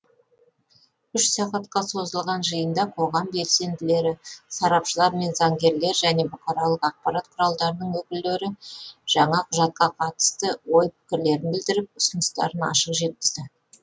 үш сағатқа созылған жиында қоғам белсенділері сарапшылар мен заңгерлер және бұқаралық ақпарат құралдарының өкілдері жаңа құжатқа қатысты ой пікірлерін білдіріп ұсыныстарын ашық жеткізді